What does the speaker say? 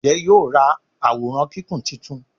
Njé yóò rá Àwòrán Kíkún títún?